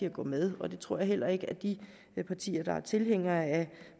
at gå med og det tror jeg heller ikke at de partier der er tilhængere af